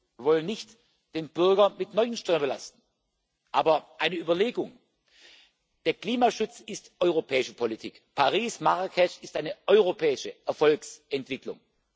steuern. Wir wollen den Bürger nicht mit neuen Steuern belasten, aber eine Überlegung Der Klimaschutz ist europäische Politik, Paris, Marrakesch ist eine europäische Erfolgsentwicklung.